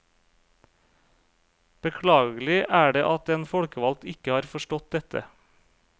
Beklagelig er det at en folkevalgt ikke har forstått dette.